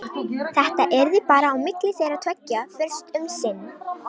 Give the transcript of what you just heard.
Þetta yrði bara á milli þeirra tveggja fyrst um sinn.